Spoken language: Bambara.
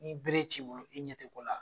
Ni bere t'i bolo i ɲɛ tɛ ko la.